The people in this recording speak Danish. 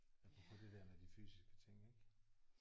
Apropos det der med de fysiske ting ik